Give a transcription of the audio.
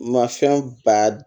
Mafɛn ba